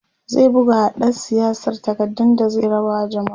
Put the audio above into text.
zai bugawa ɗan siyasar takardu da zai raba wa jamma'a